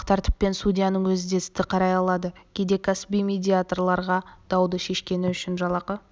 медиациялық тәртіппен судьяның өзі де істі қарай алады кейде кәсіби медиаторларға дауды шешкені үшін жалақы